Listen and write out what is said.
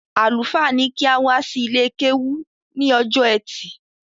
Àlùfáà ní kí a wá sí ilé-kéwú ní ọjọ́ ẹtì